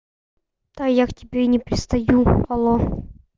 та я к тебе не пристаю алло